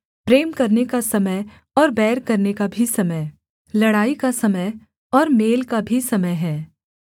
प्रेम करने का समय और बैर करने का भी समय लड़ाई का समय और मेल का भी समय है